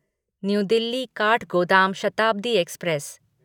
new Delhi Kathgodam Shatabdi express